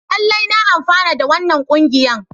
Lallai na amfana da wannan kungiyan.